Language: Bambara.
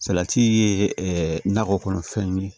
Salati ye nakɔ kɔnɔfɛnw ye